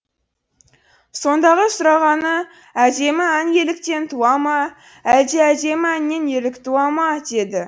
сондағы сұрағаны әдемі ән ерліктен туа ма әлде әдемі әннен ерлік туа ма деді